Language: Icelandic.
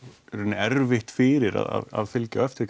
í rauninni erfitt fyrir að fylgja eftir